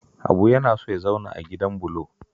Habu yana son ya zauna a gidan bulo